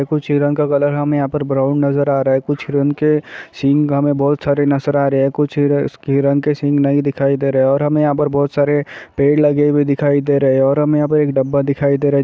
कुछ हिरण का कलर हमें यहाँ पर ब्राउन नजर आ रहा है। कुछ हिरण के सिंघ हमें बहोत सारे नजर आ रहे हैं। कुछ ह हिरन के सिंघ नहीं दिखाई दे रहे हैं और हमें यहाँ पर बहोत सारे पेड़ लगे हुए दिखाई दे रहे हैं और हमें यहाँ पे एक डब्बा दिखाई दे रहा है।